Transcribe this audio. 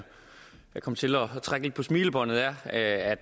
jeg kom til at trække lidt på smilebåndet er at